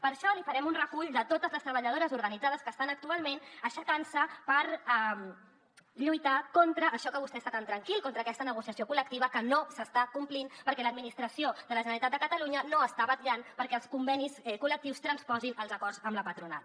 per això li farem un recull de totes les treballadores organitzades que estan actualment aixecant se per lluitar contra això amb què vostè està tan tranquil contra aquesta negociació col·lectiva que no s’està complint perquè l’administració de la generalitat de catalunya no està vetllant perquè els convenis col·lectius transposin els acords amb la patronal